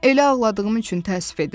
Elə ağladığım üçün təəssüf edirəm.